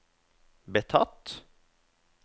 betatt